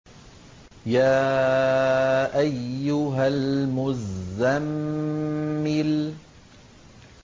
يَا أَيُّهَا الْمُزَّمِّلُ